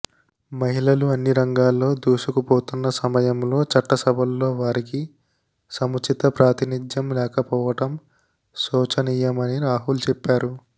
మహిళలు అన్ని రంగాల్లో దూసుకుపోతున్న సమయంలో చట్టసభల్లో వారికి సముచిత ప్రాతినిధ్యం లేకపోవటం శోచనీయమని రాహుల్ చెప్పారు